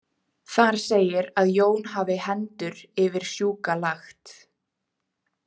"Þar segir að Jón hafi ""hendur yfir sjúka lagt."